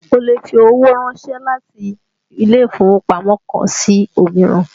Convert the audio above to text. Ó lè fi owó ránsẹ́ láti ilé ìfowópamọ́ kan sí òmíràn